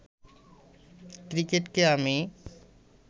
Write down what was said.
ক্রিকেটকে আমি